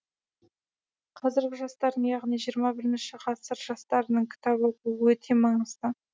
қазіргі жастардың яғни жиырма бірінші ғасыр жастарының кітап оқуы өте маңызды